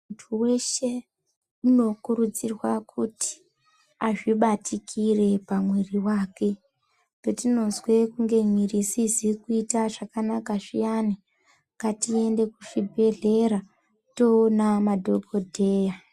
Muntu weshe , unokurudzirwa kuti azvibatikire pamwiiri wake. Petinozwe kunge mwiiri isizi kuita zvakanaka zviyani, ngatiende kuzvibhedhleya, toona madhokodheya.